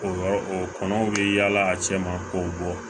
O yɔrɔ o kɔnɔw bɛ yaala a cɛ ma k'o bɔ